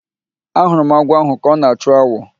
Ahụrụ m agwọ ahụ ka ọ na-achụ awọ